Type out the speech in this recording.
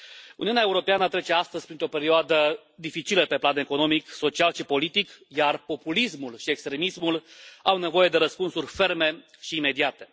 Uniunea Europeană trece astăzi printr o perioadă dificilă pe plan economic, social și politic, iar populismul și extremismul au nevoie de răspunsuri ferme și imediate.